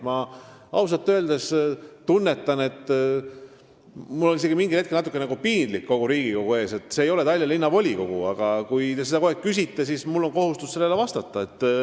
Ma ausalt öeldes tunnetan, et mul on isegi natukene piinlik Riigikogu ees, sest see siin ei ole Tallinna Linnavolikogu, aga kui te selle kohta küsite, siis mul on kohustus vastata.